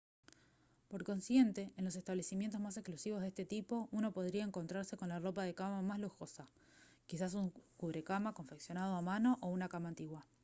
por consiguiente en los establecimientos más exclusivos de este tipo uno podrá encontrarse con la ropa de cama más lujosa quizás un cubrecama confeccionado a mano o una cama antigua